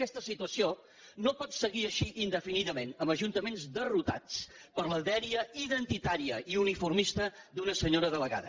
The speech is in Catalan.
aquesta situació no pot seguir així indefinidament amb ajuntament derrotats per la dèria identitària i uniformista d’una senyora delegada